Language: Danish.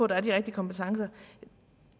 der er de rigtige kompetencer og